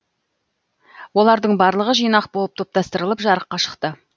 олардың бырлығы жинақ болып топтастырылып жарыққа шықты